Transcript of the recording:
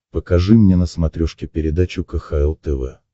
покажи мне на смотрешке передачу кхл тв